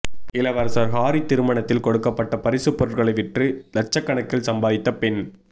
இளவரசர் ஹாரி திருமணத்தில் கொடுக்கப்பட்ட பரிசு பொருட்களை விற்று லட்சகணக்கில் சம்பாதித்த பெண்